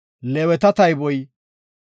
Leeweta tayboy 8,580.